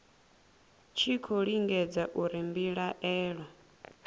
tshi khou lingedza uri mbilaelo